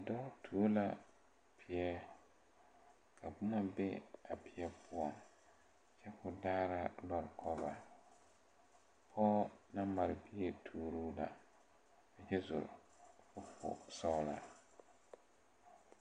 Kõɔ noɔre la ka noba biŋ ba bogitire a biŋ la a bogitire kyɛ koli bamine meŋ naŋ be a be saɛre ba netire bamine netire e la buluu ka mine e geri.